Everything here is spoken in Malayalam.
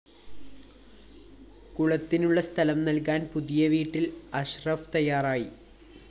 കുളത്തിനുള്ള സ്ഥലം നല്‍കാന്‍ പുതിയ വീട്ടില്‍ അഷ്‌റഫ് തയ്യാറായി